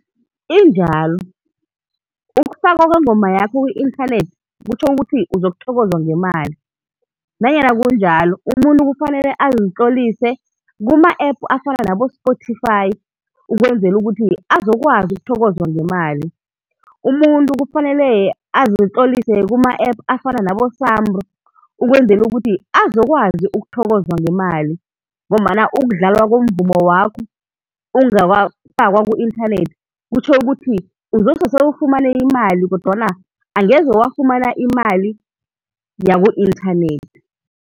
Injalo, ukufakwa kwengoma yakho ku-inthanethi kutjho ukuthi uzokuthokozwa ngemali. Nanyana kunjalo umuntu kufanele azitlolise kuma-app afana nabo-Spotify ukwenzela ukuthi azokwazi ukuthokozwa ngemali. Umuntu kufanele azitlolise kuma-app afana nabo-SAMRO ukwenzela ukuthi azokwazi ukuthokozwa ngemali, ngombana ukudlalwa komvumo wakho ungakafakwa ku-inthanethi kutjho ukuthi uzose ufumane imali kodwana angeze wafumana imali yaku-inthanethi.